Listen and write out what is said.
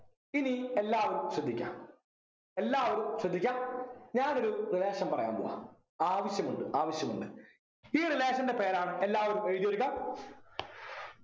ഇനി എല്ലാവരും ശ്രദ്ധിക്കാ എല്ലാവരും ശ്രദ്ധിക്കാ ഞാനൊരു relation പറയാം പോവ്വാ ആവശ്യമുണ്ട് ആവശ്യമുണ്ട് ഈ relation ൻ്റെ പേരാണ് എല്ലാരും എഴുതിയെടുക്ക